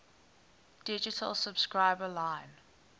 digital subscriber line